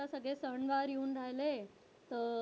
आता सगळे सण वार येऊन राहिले तर,